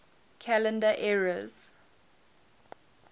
calendar eras